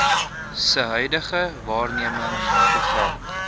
se huidige waarnemersprogram